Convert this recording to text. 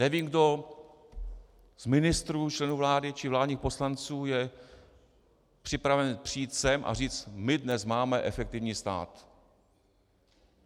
Nevím, kdo z ministrů, členů vlády či vládních poslanců je připraven přijít sem a říct: My dnes máme efektivní stát.